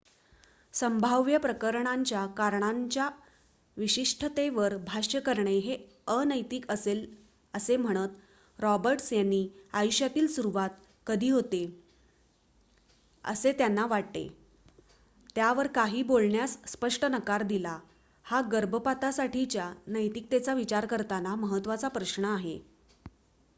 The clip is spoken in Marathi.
संभाव्य प्रकरणांच्या करणांच्या विशिष्टतेवर भाष्य करणे हे अनैतिक असेल असे म्हणत रॉबर्ट्स यांनी आयुष्याची सुरुवात कधी होते असेत्यांना वाटते यावर काहीही बोलण्यास स्पष्ट नकार दिला हा गर्भपातासाठीच्या नैतिकतेचा विचार करताना महत्त्वाचा प्रश्न आहे